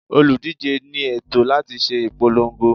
Olùdíje ní ẹ̀tọ́ láti ṣe ìpolongo.